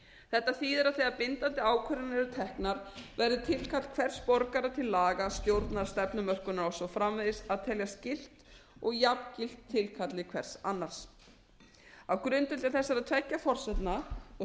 þetta þýðir að þegar bindandi ákvarðanir eru teknar verður tilkall hvers borgara til laga stjórnar stefnumörkunar og svo framvegis að teljast gilt og jafngilt tilkalli hvers annars á grundvelli þessara tveggja forsendna og